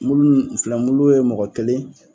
Mulu in filɛ mulu ye mɔgɔ kelen